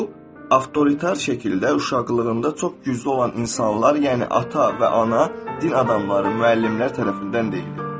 Və bu avtoritar şəkildə uşaqlığında çox güclü olan insanlar, yəni ata və ana, din adamları, müəllimlər tərəfindən deyilmir.